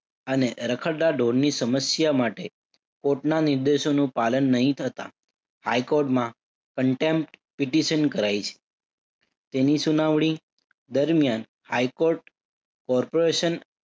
અને રખડતા ઢોરની સમસ્યા માટે કોર્ટના નિર્દેશોનું પાલન નહિ થતા હાઈ કોર્ટમાં contempt petition કરાઈ છે. તેની સુનાવણી દરમ્યાન હાઈ કોર્ટ corporatiom